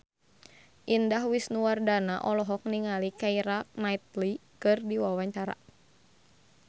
Indah Wisnuwardana olohok ningali Keira Knightley keur diwawancara